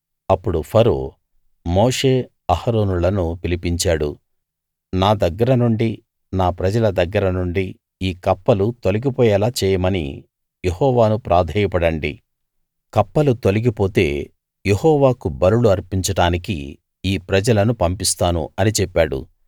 అప్పుడు ఫరో మోషే అహరోనులను పిలిపించాడు నా దగ్గర నుండి నా ప్రజల దగ్గర నుండి ఈ కప్పలు తొలగిపోయేలా చేయమని యెహోవాను ప్రాధేయపడండి కప్పలు తొలగిపోతే యెహోవాకు బలులు అర్పించడానికి ఈ ప్రజలను పంపిస్తాను అని చెప్పాడు